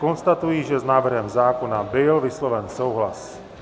Konstatuji, že s návrhem zákona byl vysloven souhlas.